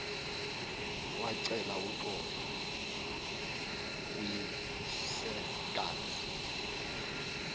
wacela uxolo kuyisekazi